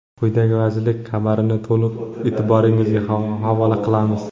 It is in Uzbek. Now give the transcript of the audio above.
Quyida vazirlik xabarini to‘liq e’tiboringizga havola qilamiz.